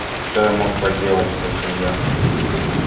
что я мог поделать спросил я